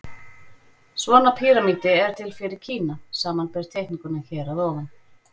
Svona píramídi er til fyrir Kína, samanber teikninguna hér að ofan.